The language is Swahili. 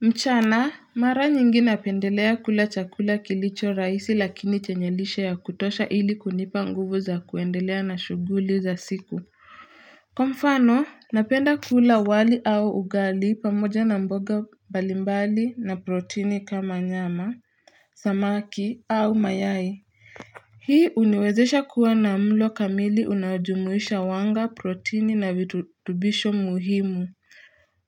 Mchana mara nyingi napendelea kula chakula kilicho rahisi lakini chanye lishe ya kutosha ili kunipa nguvu za kuendelea na shuguli za siku Kwa mfano napenda kula wali au ugali pamoja na mboga mbalimbali na protini kama nyama, samaki au mayai Hii uniwezesha kuwa na mlo kamili unajumuisha wanga protini na virutubisho muhimu